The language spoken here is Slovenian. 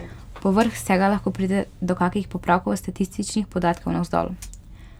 Povrh vsega lahko pride do kakih popravkov statističnih podatkov navzdol.